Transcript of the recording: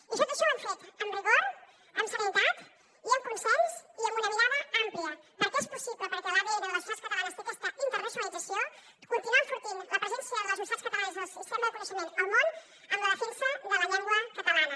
i tot això ho hem fet amb rigor amb serenitat i amb consens i amb una mirada àmplia perquè és possible perquè l’adn de les universitats catalanes té aquesta internacionalització continuar enfortint la presència de les universitats catalanes i el sistema de coneixement al món amb la defensa de la llengua catalana